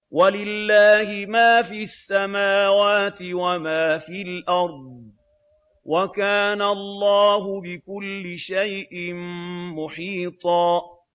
وَلِلَّهِ مَا فِي السَّمَاوَاتِ وَمَا فِي الْأَرْضِ ۚ وَكَانَ اللَّهُ بِكُلِّ شَيْءٍ مُّحِيطًا